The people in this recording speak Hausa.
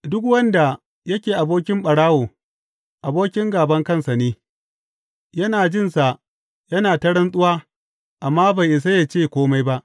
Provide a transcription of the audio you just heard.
Duk wanda yake abokin ɓarawo abokin gāban kansa ne; yana jin sa yana ta rantsuwa, amma bai isa ya ce kome ba.